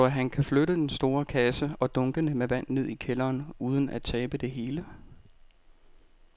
Tror du, at han kan flytte den store kasse og dunkene med vand ned i kælderen uden at tabe det hele?